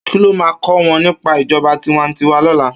Ki ló má kò wòn nipá ijòbá tiwàntiwá lòlá?